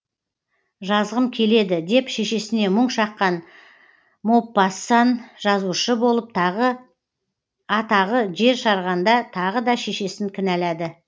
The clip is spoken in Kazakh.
жазғым келеді деп шешесіне мұң шаққан мопассан жазушы болып атағы жер жарғанда тағы да шешесін кінәлады